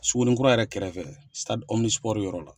Sugunni kura yɛrɛ kɛrɛfɛ Sadi Ɔminisipoɔri yɔrɔ la.